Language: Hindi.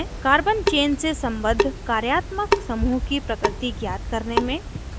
carbon chain से सम्बद्ध कार्यात्मक समूह की प्रकृति ज्ञात करने में